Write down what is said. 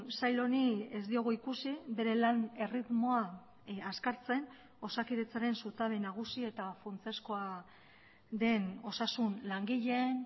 sail honi ez diogu ikusi bere lan erritmoa azkartzen osakidetzaren zutabe nagusi eta funtsezkoa den osasun langileen